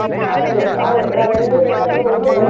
ಹೌದು ಹೌದು ನಾವ್ ಎಲ್ ಬೇಕಾದ್ರೂ ಹೋದರು